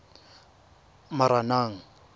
moranang